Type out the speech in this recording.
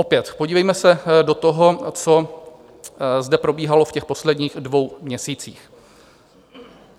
Opět, podívejme se do toho, co zde probíhalo v těch posledních dvou měsících.